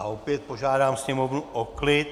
A opět požádám sněmovnu o klid!